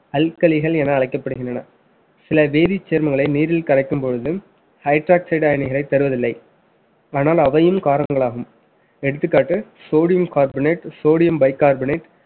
அல்கலிகள் என அழைக்கப்படுகின்றன சில வேதிச் சேர்மங்களை நீரில் கரைக்கும் பொழுது hydroxide களை தருவதில்லை ஆனால் அவையும் காரங்களாகும் எடுத்துக்காட்டு sodium carbonate, sodium bicarbonate